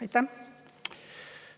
Aitäh!